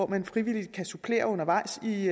man frivilligt kan supplere undervejs i